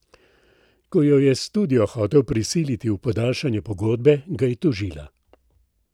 Ko jo je studio hotel prisiliti v podaljšanje pogodbe, ga je tožila.